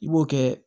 I b'o kɛ